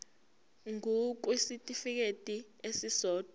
ngur kwisitifikedi esisodwa